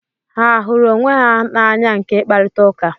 Ha a hụrụ onwe na anya nke ị kparịta ụka?